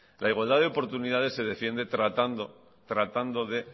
la igualdad de oportunidades se defiende tratando tratando de